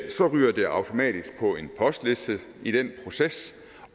så ryger det automatisk på en postliste i den proces